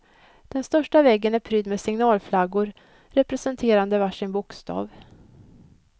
Den största väggen är prydd med signalflaggor representerande varsin bokstav.